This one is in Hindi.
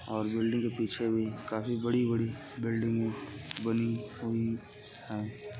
और बिल्डिंग के पीछे भी काफी बड़ी-बड़ी बिल्डिंगे बनी हुई हैं।